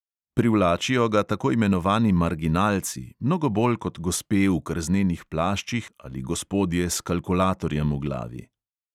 Privlačijo ga tako imenovani marginalci, mnogo bolj kot gospe v krznenih plaščih ali gospodje s kalkulatorjem v glavi.